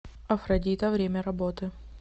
афродита время работы